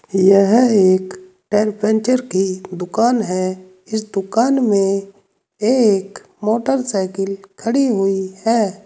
यह एक tyre puncture की दुकान है इस दुकान में एक मोटरसाइकिल खड़ी हुई है।